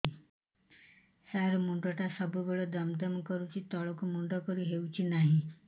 ସାର ମୁଣ୍ଡ ଟା ସବୁ ବେଳେ ଦମ ଦମ କରୁଛି ତଳକୁ ମୁଣ୍ଡ କରି ହେଉଛି ନାହିଁ